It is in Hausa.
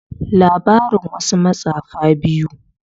labarin wasu matsafa biyu